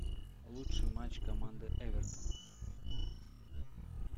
лучший матч команды эвертон